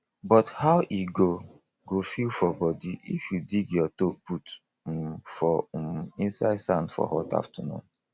but how e go go feel for body if you dig your toe put um for um inside sand for hot afternoon